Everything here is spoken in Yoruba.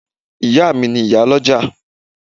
Ìyá à mi ni ìyálọ́jà